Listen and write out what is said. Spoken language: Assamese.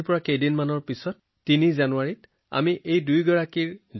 আজিৰ পৰা কেইদিনমানৰ পৰা ৩ জানুৱাৰীত আমি তেওঁৰ জন্ম বাৰ্ষিকী উদযাপন কৰিম